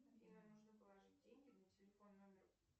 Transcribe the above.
афина нужно положить деньги на телефон номер